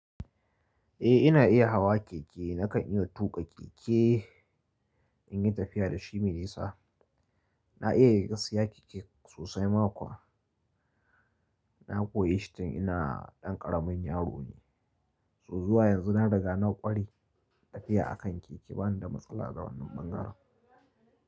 Eh ina iya hawa keke. Nakan iya tuƙa keke in yi tafiya da shi mai nisa. Na iya gasa keke sosai. Na koyi shi tun ina ɗan ƙaramin yaro ne, zuwa yanzu na riga na ƙware tafiya a kan keke. Bana da matsala da wannan bangaren.